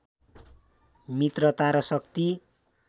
मित्रता र शक्ति